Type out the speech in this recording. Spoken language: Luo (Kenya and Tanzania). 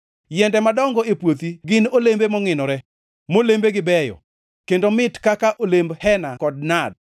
Yiende madongo e puothi gin olembe mongʼinore, molembegi beyo, kendo mit kaka olemb hena kod nad.